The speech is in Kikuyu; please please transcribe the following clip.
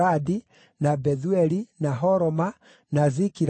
na Bethueli, na Horoma, na Zikilagi,